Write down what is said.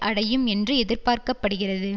அடையும் என்று எதிர்பார்க்க படுகிறது